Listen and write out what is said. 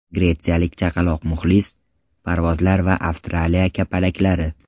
Gretsiyalik chaqaloq muxlis, parvozlar va Avstraliya kapalaklari.